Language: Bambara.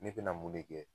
Ne bɛna mun ne kɛ